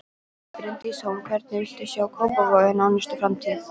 Bryndís Hólm: Hvernig viltu sjá Kópavog í nánustu framtíð?